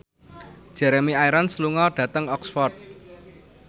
Jeremy Irons lunga dhateng Oxford